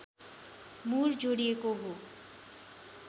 मुर जोडिएको हो